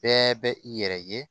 Bɛɛ bɛ i yɛrɛ ye